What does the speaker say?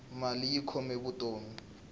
mali yi khome vutomi